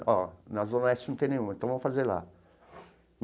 Ó na Zona Oeste não tem nenhuma, então vamos fazer lá.